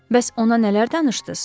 Bəs ona nələr danışdız?